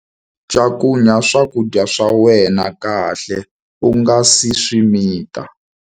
Cakunya swakudya swa wena kahle u nga si swi mita.